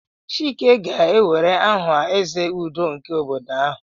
Chike ga-ewere aha "Eze Udo" nke obodo ha."